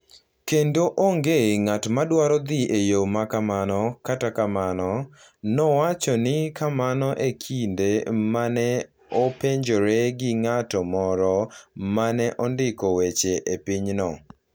Kendo onge ng’at ma dwaro dhi e yo ma kamano kata kamano, nowacho ni kamano e kinde ma ne openjore gi ng’at moro ma ne ondiko weche e pinyno.